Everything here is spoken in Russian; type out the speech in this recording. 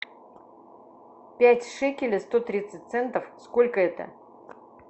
пять шекелей сто тридцать центов сколько это